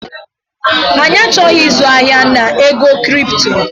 Anyị achọghị ịzụ ahịa na ego kripto